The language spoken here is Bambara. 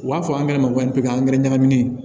U b'a fɔ ankɛrɛ ma ko pikiri angɛrɛ ɲagaminen